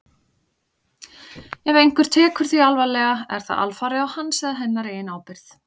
Ef einhver tekur því alvarlega er það alfarið á hans eða hennar eigin ábyrgð.